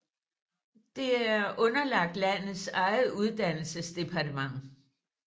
Det er underlagt landets eget uddannelsesdepartement